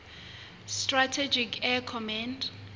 strategic air command